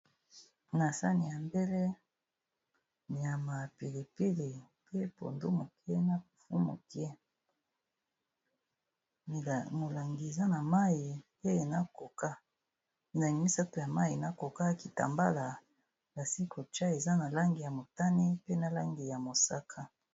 Na sani ya mbele nyama, pili pili, pe pondu moke na fufu moke. Molangi eza na mayi pe na coca, milangi misato ya mayi pe na coca, kitambala basili kotcha eza na langi ya motane, pe na langi ya mosaka.